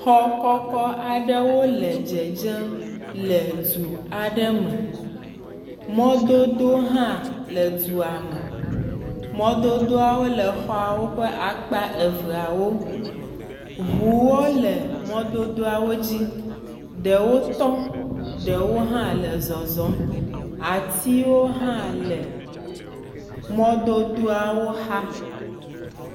Xɔ kɔkɔ aɖewo le dzedzem le du aɖe me, mɔdodowo hã le dua me, mɔdodoawo le xɔawo ƒe akpa eveawo ŋuawo le mɔdodoawo dzi ɖewo tŋ ɖewo hã le zeɔzɔm, atiwo hã le mɔdodoawo xa.